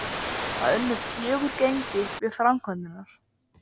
Úrslitin réðust ekki fyrr en á síðustu sekúndunum.